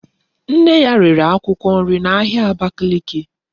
Nne ya rere akwukwo nri na ahia Abakiliki